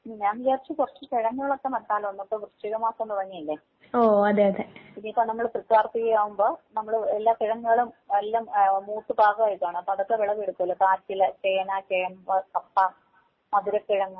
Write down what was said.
ഞാൻ വിചാരിച്ചു കൊറച്ച് കിഴങ്ങുകളൊക്കെ നട്ടാലോന്ന് ഇപ്പൊ വൃശ്ചിക മാസം തൊടങ്ങീലെ ഇനി ഇപ്പൊ നമ്മള് തൃക്കാർത്തിക ആകുമ്പോ നമ്മള് എല്ലാ കിഴങ്ങുകളും എല്ലാം ആഹ് മൂത്ത് പാകമായിക്കാണും അപ്പൊ അതൊക്കെ വിളവെടുക്കല് കാച്ചില്, ചേന, ചേമ്പ്, കപ്പ, മധുര കിഴങ്ങ്